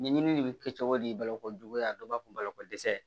Ɲɛɲini de bi kɛ cogo di baloko juguya dɔ b'a fɔ balakodɛsɛ